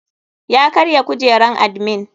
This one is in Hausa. Ya karya kujeran admin.